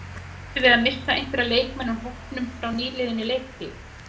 Býstu við að missa einhverja leikmenn úr hópnum frá nýliðinni leiktíð?